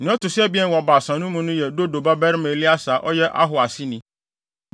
Nea ɔto so abien wɔ Baasa no mu no yɛ Dodo babarima Eleasar a ɔyɛ Ahoa aseni.